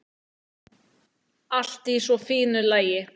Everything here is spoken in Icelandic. Allt í svo fínu lagi.